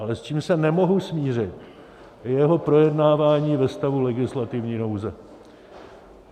Ale s čím se nemohu smířit, je jeho projednávání ve stavu legislativní nouze.